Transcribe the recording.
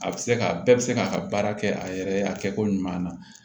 A bɛ se ka bɛɛ bɛ se k'a ka baara kɛ a yɛrɛ ye a kɛcogo ɲuman na